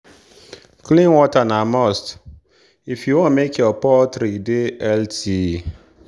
clean water na must if you want make your poultry dey healthy.